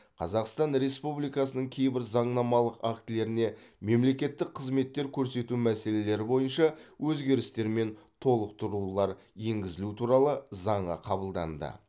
қазақстан республикасының кейбір заңнамалық актілеріне мемлекеттік қызметтер көрсету мәселелері бойынша өзгерістер мен толықтырулар енгізілу туралы заңы қабылданды